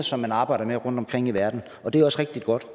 som man arbejder med rundtomkring i verden og det er også rigtig godt